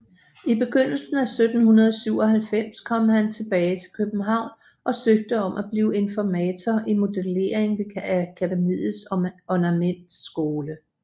I begyndelsen af 1797 kom han tilbage til København og søgte om at blive informator i modellering ved Akademiets ornamentskole